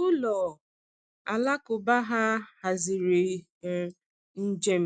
Ụlọ alakụba ha haziri um njem